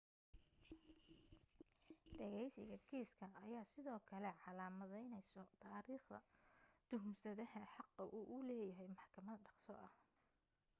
dhageysiga kiiska ayaa sidoo kale calaamadeyneyso taariikhda tuhunsanaha xaqa uu u leeyahay maxkamad dhaqso ah